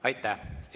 Aitäh!